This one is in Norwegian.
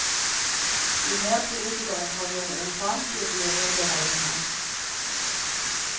Jo mer politikerne krangler om operaen, jo dyrere blir regningen.